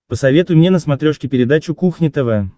посоветуй мне на смотрешке передачу кухня тв